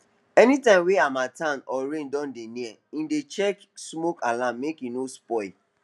anytime wey harmattan or rain don dey near he dey check smoke alarm make e no spoil